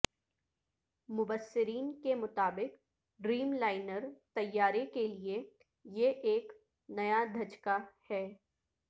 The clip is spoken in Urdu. مبصرین کے مطابق ڈریم لائنر طیارے کے لیے یہ ایک نیا دھچکہ ہے